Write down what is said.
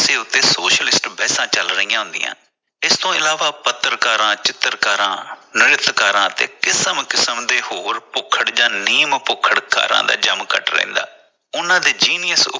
socialist ਬਹਿਸਾਂ ਚਲ ਰਹੀਆਂ ਹੁੰਦੀਆਂ । ਇਸ ਤੋਂ ਇਲਾਵਾ ਪੱਤਰਕਾਰਾਂ, ਚਿੱਤਰਕਾਰਾਂ, ਨ੍ਰਿਤਕਾਰਾ ਤੇ ਕਿਸਮ ਕਿਸਮ ਦੇ ਹੋਰ ਜਾਂ ਨੀਮ ਭੁੱਖੜਕਾਰਾਂ ਦਾ ਜਮ ਘੱਟ ਰਹਿੰਦਾ ਉਨ੍ਹਾਂ ਦੇ genius